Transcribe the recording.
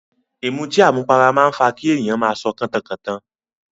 Ìmutí àmupara máa ń fa kí èyàn máa sọ kọ́tankọ̀tan.